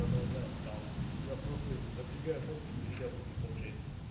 продолжай там я просто напрягаю мозг я нихуя просто не получается